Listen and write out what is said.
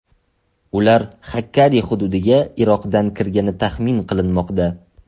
Ular Xakkari hududiga Iroqdan kirgani taxmin qilinmoqda.